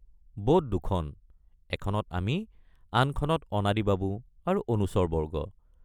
Boat দুখন—এখনত আমি আনখনত অনাদি বাবু আৰু অনুচৰবৰ্গ।